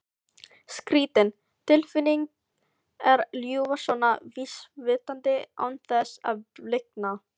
Skrýtin tilfinning að ljúga svona vísvitandi án þess að blikna.